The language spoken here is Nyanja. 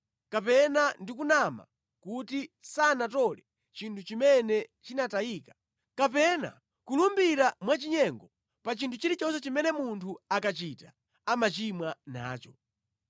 kapena ndi kunama kuti sanatole chinthu chimene chinatayika, kapena kulumbira mwachinyengo pa chinthu chilichonse chimene munthu akachita amachimwa nacho,